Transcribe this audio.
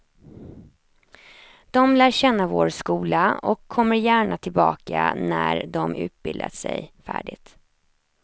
De lär känna vår skola och kommer gärna tillbaka när de utbildat sig färdigt.